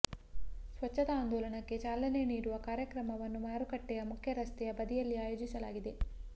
ಸ್ವಚ್ಛತಾ ಆಂದೋಲನಕ್ಕೆ ಚಾಲನೆ ನೀಡುವ ಕಾರ್ಯಕ್ರಮವನ್ನು ಮಾರುಕಟ್ಟೆಯ ಮುಖ್ಯರಸ್ತೆಯ ಬದಿಯಲ್ಲೇ ಆಯೋಜಿಸಲಾಗಿತ್ತು